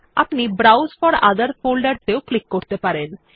আপনি browse for other folders এও click করতে পারেন